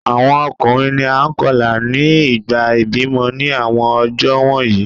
Awọn ọkunrin ni a kọla ni ìgbà ibimọ ni awọn ọjọ wọnyi